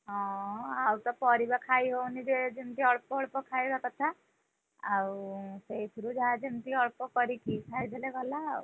ହଁ ଆଉ ତ ପରିବା ଖାଇ ହଉନି ଯେ ଯେମିତି ଅଳ୍ପ ଅଳ୍ପ ଖାଇବା କଥା, ଆଉ ସେଇଥିରୁ ଯାହା ଯେମିତି ଅଳ୍ପ କରିକି ଖାଇଦେଲେ ଗଲା ଆଉ।